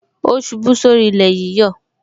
O ṣubú sórí ilé yíyọ